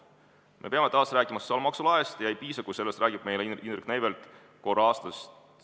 Me peame taas rääkima sotsiaalmaksu laest, ja ei piisa, kui sellest räägib meile Indrek Neivelt korra aastas.